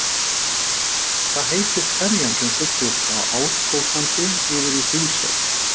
Hvað heitir ferjan sem siglir frá Árskógssandi yfir í Hrísey?